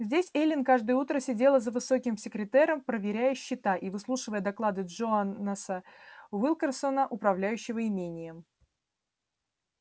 здесь эллин каждое утро сидела за высоким секретером проверяя счета и выслушивая доклады джонаса уилкерсона управляющего имением